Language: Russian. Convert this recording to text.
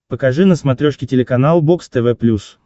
покажи на смотрешке телеканал бокс тв плюс